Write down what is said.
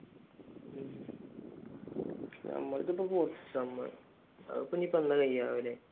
നമ്മളുടെത് ഇപ്പോൾ fourth sem അതിപ്പോ ഇനി ഇപ്പൊ എന്നാ കഴിയുക ആവല്?